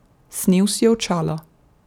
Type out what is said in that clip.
Snel si je očala.